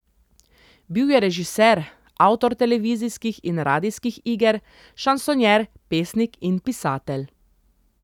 Bil je režiser, avtor televizijskih in radijskih iger, šansonjer, pesnik in pisatelj.